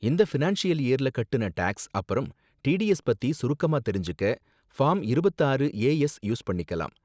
இந்த ஃபினான்ஷியல் இயர்ல கட்டுன டேக்ஸ் அப்பறம் டிடிஎஸ் பத்தி சுருக்கமா தெரிஞ்சுக்க ஃபார்ம் இருபத்து ஆறு ஏ எஸ் யூஸ் பண்ணிக்கலாம்.